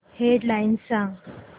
head lines सांग